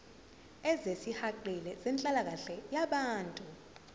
ezisihaqile zenhlalakahle yabantu